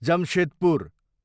Jamshedpur